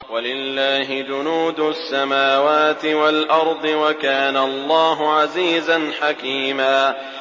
وَلِلَّهِ جُنُودُ السَّمَاوَاتِ وَالْأَرْضِ ۚ وَكَانَ اللَّهُ عَزِيزًا حَكِيمًا